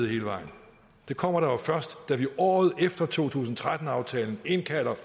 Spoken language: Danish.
hele vejen det kommer der jo først da vi året efter to tusind og tretten aftalen indkalder